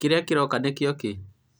kĩrĩa kĩroka nĩkĩo kĩ?